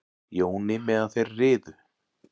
Jóni meðan þeir riðu.